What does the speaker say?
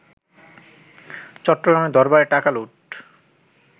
চট্টগ্রামে দরবারে টাকা লুট